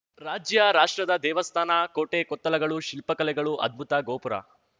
ರಾಜ್ಯ ರಾಷ್ಟ್ರದ ದೇವಸ್ಥಾನ ಕೋಟೆ ಕೊತ್ತಲಗಳು ಶಿಲ್ಪಕಲೆಗಳು ಅದ್ಭುತ ಗೋಪುರ